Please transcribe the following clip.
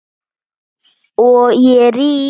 Og ég rym.